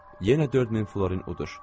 Yenə 4000 florin udur.